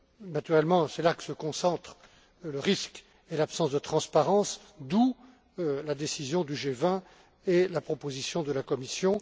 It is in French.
à gré. Naturellement, c'est là que se concentrent le risque et l'absence de transparence, d'où la décision du G20 et la proposition de la Commission.